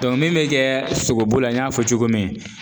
min bɛ kɛ sogobu la n y'a fɔ cogo min